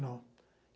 Não.